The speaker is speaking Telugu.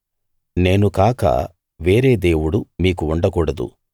నేను కాక వేరే దేవుడు మీకు ఉండకూడదు